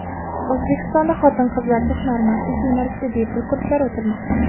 O‘zbekistonda xotin-qizlarga hunarmandlik yo‘nalishida bepul kurslar o‘tilmoqda.